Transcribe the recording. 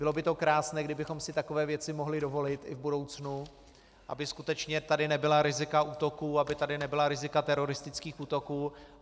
Bylo by to krásné, kdybychom si takové věci mohli dovolit i v budoucnu, aby skutečně tady nebyla rizika útoků, aby tady nebyla rizika teroristických útoků.